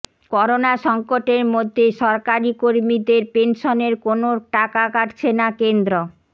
corona সংকটের মধ্যে সরকারি কর্মীদের পেনশেনের কোনো টাকা কাটছে না কেন্দ্র